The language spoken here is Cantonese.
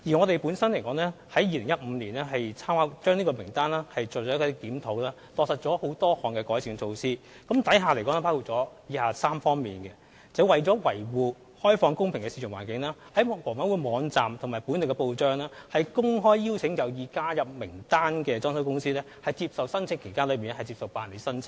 當局在2015年對參考名單作出檢討後，落實了多項改善措施，當中包括以下3方面：為了維護開放公平的市場環境，房委會在其網站及本地報章，公開邀請有意加入參考名單的裝修公司，在指定時間內提出申請。